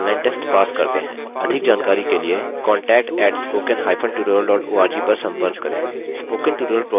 अधिक जानकारी के लिए contact @spoken hypen tutorial dot org पर संपर्क करें